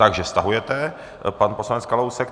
Takže stahuje pan poslanec Kalousek.